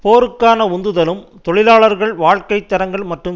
போருக்கான உந்துதலும் தொழிலாளர்கள் வாழ்க்கை தரங்கள் மற்றும்